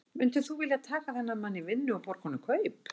Myndir þú þá vilja taka þennan mann í vinnu og borga honum kaup?